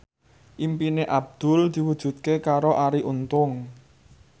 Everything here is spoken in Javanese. impine Abdul diwujudke karo Arie Untung